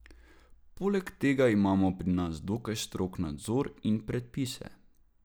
Poleg tega imamo pri nas dokaj strog nadzor in predpise.